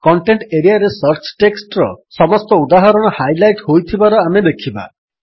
content ଏରିଆରେ search text ର ସମସ୍ତ ଉଦାହରଣ ହାଇଲାଇଟ୍ ହୋଇଥିବାର ଆମେ ଦେଖିବା